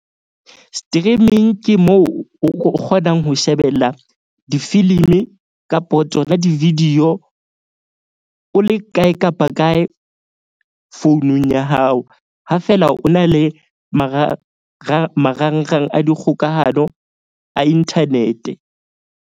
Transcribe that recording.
Streaming ke moo o kgonang ho shebella difilimi kapo tsona di-video o le kae kapa kae founung ya hao. Ha fela o na le marangrang, marangrang a dikgokahano a internet-e.